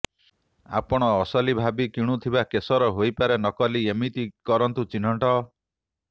ଆପଣ ଅସଲି ଭାବି କିଣୁଥିବା କେସର ହୋଇପାରେ ନକଲି ଏମିତି କରନ୍ତୁ ଚିହ୍ନଟ